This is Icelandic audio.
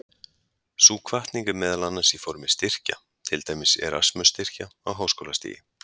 Sú hvatning er meðal annars í formi styrkja, til dæmis Erasmus-styrkja á háskólastigi.